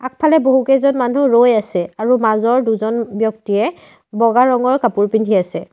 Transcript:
আগফালে বহুকেইজন মানুহ ৰৈ আছে আৰু মাজৰ দুজন ব্যক্তিয়ে বগা ৰঙৰ কাপোৰ পিন্ধি আছে।